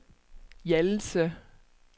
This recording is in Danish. Hjallelse